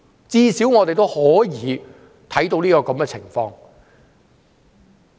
最少我們可以看到這個情況。